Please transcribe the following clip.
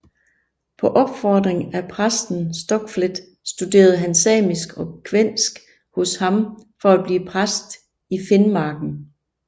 Efter opfordring af præsten Stockfleth studerede han samisk og kvænsk hos ham for at blive præst i Finnmarken